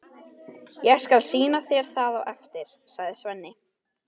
Ég skal sýna þér það á eftir, sagði Svenni.